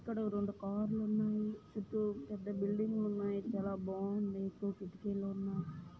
ఇక్కడ ఓ రెండు కార్ లు ఉన్నాయి చుట్టూ పెద్ద బిల్డింగ్ లు ఉన్నాయి చాలా బాగుంది ఎక్కువ కిటికీలు ఉన్నాయి.